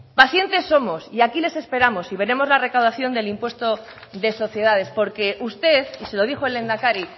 pacientes somos y aquí les esperamos y veremos le recaudación del impuesto de sociedades porque usted y se lo dijo el lehendakari